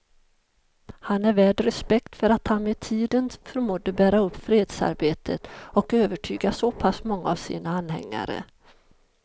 Han är värd respekt för att han med tiden förmådde bära upp fredsarbetet och övertyga så pass många av sina anhängare.